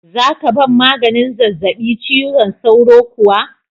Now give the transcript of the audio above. Za ka ban maganin zazzabi cizon sauron kuwa?